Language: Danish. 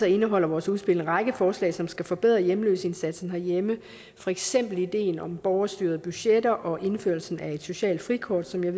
indeholder vores udspil en række forslag som skal forbedre hjemløseindsatsen herhjemme for eksempel ideen om borgerstyrede budgetter og indførelsen af et socialt frikort som jeg